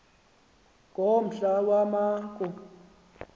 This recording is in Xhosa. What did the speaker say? kombla wama ku